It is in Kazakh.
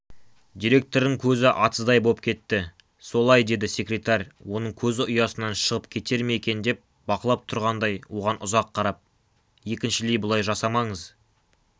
директордың көзі атыздай боп кетті солай деді секретарь оның көзі ұясынан шығып кетер ме екен деп бақылап тұрғандай оған ұзақ қарап екіншілей бұлай жасамаңыз